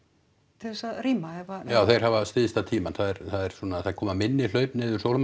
þess að rýma ef að já þeir hafa stysta tímann það er svona það koma minni hlaup niður